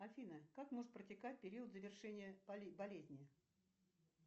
афина как может протекать период завершения болезни